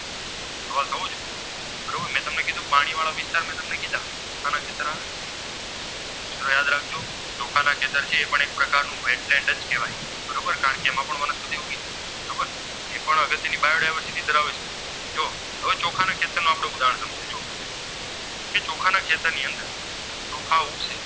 ની અંદર ચોખા ઉગશે